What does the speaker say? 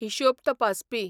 हिशोब तपासपी